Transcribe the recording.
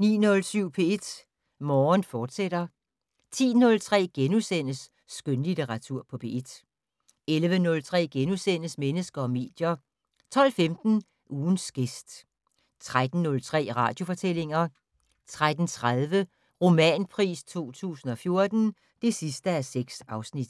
09:07: P1 Morgen, fortsat 10:03: Skønlitteratur på P1 * 11:03: Mennesker og medier * 12:15: Ugens gæst 13:03: Radiofortællinger 13:30: Romanpris 2014: (6:6)